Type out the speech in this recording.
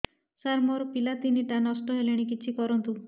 ସାର ମୋର ପିଲା ତିନିଟା ନଷ୍ଟ ହେଲାଣି କିଛି କରନ୍ତୁ